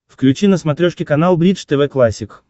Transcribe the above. включи на смотрешке канал бридж тв классик